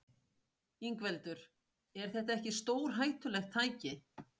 Ingveldur: Er þetta ekki stórhættulegt tæki?